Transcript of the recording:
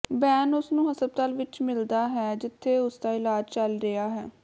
ਬੇਨ ਉਸ ਨੂੰ ਹਸਪਤਾਲ ਵਿੱਚ ਮਿਲਦਾ ਹੈ ਜਿੱਥੇ ਉਸਦਾ ਇਲਾਜ ਚੱਲ ਰਿਹਾ ਹੈ